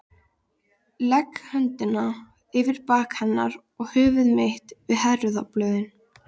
Legg höndina yfir bak hennar og höfuð mitt við herðablöðin.